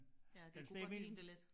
Ja det kunne godt ligne det lidt